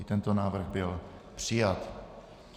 I tento návrh byl přijat.